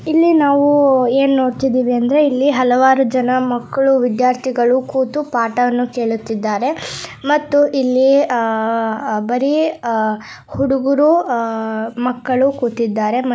ಇಲ್ಲಿ ನಾವು ಏನು ನೋಡುತಿದಿವಿ ಅಂದರೆ ಇಲ್ಲಿ ಅಲವಾರು ಜನ ಮಕ್ಕಳು ವಿದ್ಯಾರ್ಥಿಗಳು ಕೂತು ಪಾಠವನ್ನು ಕೇಳುತಿದ್ದಾರೆ ಮತ್ತು ಇಲ್ಲಿ ಆ ಬರಿ ಆ ಹುಡುಗರು ಆ ಮಕ್ಕಳು ಕೂತಿದ್ದಾರೆ.